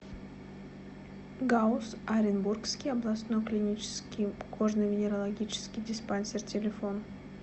гауз оренбургский областной клинический кожно венерологический диспансер телефон